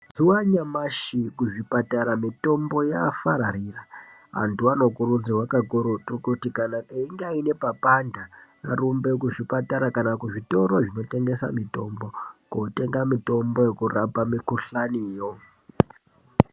Mazuva anyamashi ku zvipatara mitombo yafararira antu ano kurudzirwa kakurutu kuti kana einge aine pano panda arumbe ku zvipatara kana ku zvitoro zvino tengesa mitombo kotenga mitombo yeku rapa mikuhlani yo.